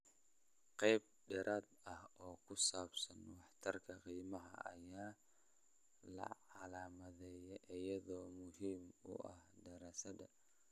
Qayb dheeraad ah oo ku saabsan waxtarka qiimaha ayaa la calaamadeeyay iyada oo muhiim u ah daraasadaha .